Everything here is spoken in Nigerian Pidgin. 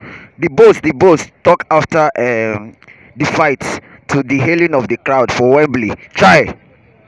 dubois dubois tok afta um di fight to di hailing of di crowd for wembley. um